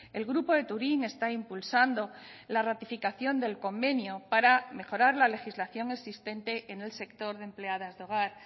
el grupo de turín está impulsando la ratificación del convenio para mejorar la legislación existente en el sector de empleadas de hogar